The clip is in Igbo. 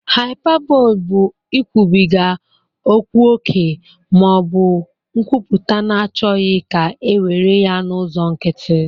Hyperbole bụ ikwubiga okwu ókè ma ọ bụ nkwuputa na-achọghị ka e were ya n'ụzọ nkịtị